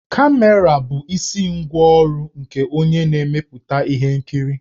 Kamera bụ isi ngwá ọrụ nke onye na-emepụta ihe nkiri.